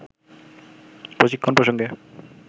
প্রশিক্ষণ প্রসঙ্গে